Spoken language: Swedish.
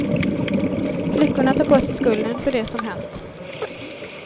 Flickorna tar på sig skulden för det som hänt.